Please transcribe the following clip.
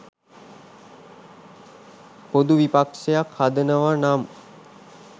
පොදු විපක්‍ෂයක් හදනව නම්